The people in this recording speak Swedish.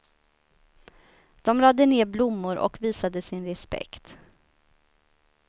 De lade ned blommor och visade sin respekt.